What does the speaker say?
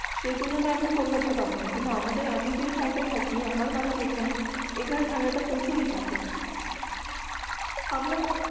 সেই তুলনা আপনি কলকাতা তে পাবেন না কিন্তু আমাদের আমি যে সাইড থাকি আমার বাড়ি যেখানে আখ্যানে ঠান্ডা তা প্রচুর হয় থাকে আপনাদের